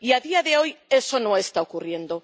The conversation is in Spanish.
Y a día de hoy eso no está ocurriendo.